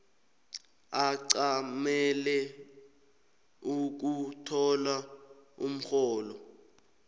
ancamele ukuthola umrholo